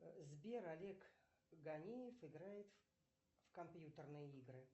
сбер олег ганиев играет в компьютерные игры